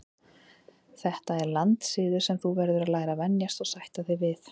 Þetta er landssiður sem þú verður að læra að venjast og sætta þig við.